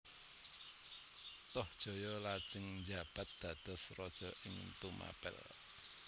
Tohjaya lajeng njabat dados raja ing Tumapel